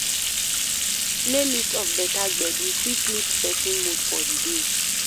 Playlist of better gbedu fit lift person mood for di day